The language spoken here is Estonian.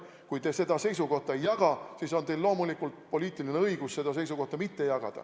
Kui te seda seisukohta ei jaga, siis on teil loomulikult poliitiline õigus seda seisukohta mitte jagada.